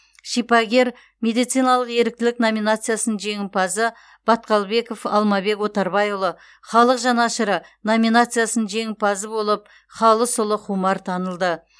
шипагер медициналық еріктілік номинациясының жеңімпазы баткалбеков алмабек отарбайұлы халық жанашыры номинациясының жеңімпазы болып халысұлы хумар танылды